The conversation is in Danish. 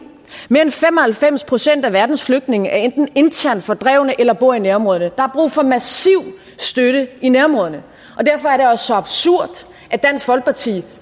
mere end fem og halvfems procent af verdens flygtninge er enten internt fordrevne eller bor i nærområderne der er brug for massiv støtte i nærområderne og derfor er det også så absurd at dansk folkeparti